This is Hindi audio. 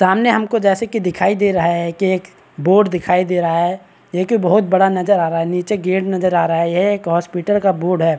हम सब देख सकते है कि पानी दिखाई दे रहा है पानी का तालाब है ये बगल में पिलर दिखाई दे रहे है ब्रिज भी दिखाई दे रहे है जैसे ग्रिल लाल कलर की नजर आ रही है।